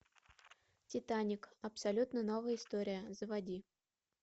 титаник абсолютно новая история заводи